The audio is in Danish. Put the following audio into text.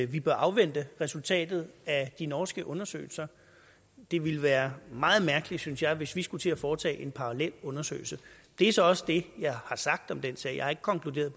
vi bør afvente resultatet af de norske undersøgelser det ville være meget mærkeligt synes jeg hvis vi skulle til at foretage en parallel undersøgelse det er så også det jeg har sagt om den sag jeg har ikke konkluderet